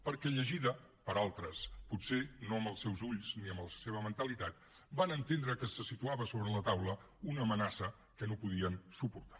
perquè llegida per altres potser no amb els seus ulls ni amb la seva mentalitat van entendre que se situava sobre la taula una amenaça que no podien suportar